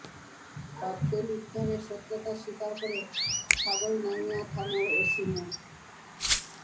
cocktail উদ্ধারের সত্যতা স্বীকার করে ছাগলনাইয়া থানার ওসি মো